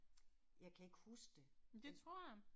Jeg kan ikke huske det, men